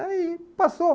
Aí, passou.